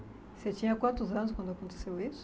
Você tinha quantos anos quando aconteceu isso?